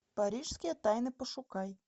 парижские тайны пошукай